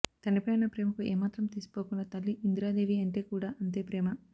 తండ్రిపై ఉన్న ప్రేమకు ఏమాత్రం తీసిపోకుండా తల్లి ఇందిరాదేవి అంటే కూడా అంతే ప్రేమ